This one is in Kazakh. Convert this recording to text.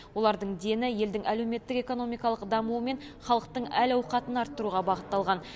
олардың дені елдің әлеуметтік экономикалық дамуы мен халықтың әл ауқатын арттыруға бағытталған